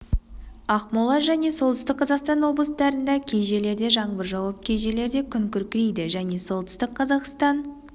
ақмола және солтүстік қазақстан облыстарында кей жерлерде жаңбыр жауып кей жерлерде күн күркірейді және солтүстік қазақстан